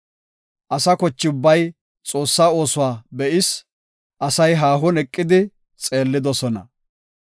Asa koche ubbay Xoossaa oosuwa be7is; asay haahon eqidi xeellidosona.